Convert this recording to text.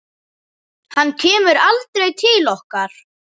Hann kemur aldrei til okkar.